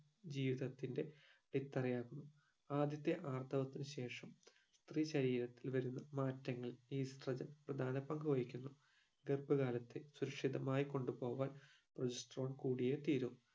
ജീവിതത്തിന്റെ അടിത്തറയാകുന്നു ആദ്യത്തെ ആർത്തവത്തിന് ശേഷം സ്ത്രീ ശരീരത്തിൽ വരുന്ന മാറ്റങ്ങൾ estrogen പ്രധാന പങ്കു വഹിക്കുന്നു ഗർഭ കാലത്തേ സുരക്ഷിതമായി കൊണ്ട് പോകാൻ progesterone കൂടിയേ തീരു